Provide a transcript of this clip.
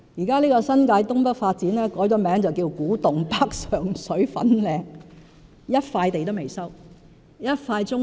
這項新界東北發展計劃現已改名為"古洞北、上水、粉嶺"，但到目前為止，尚未收回一塊棕地。